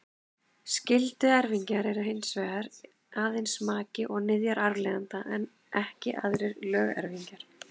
Skylduerfingjar eru hins vegar aðeins maki og niðjar arfleifanda, ekki aðrir lögerfingjar.